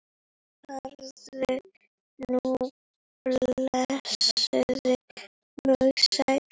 Farðu nú blessuð og sæl.